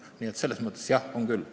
Nii et selles mõttes on vastus jah, on küll.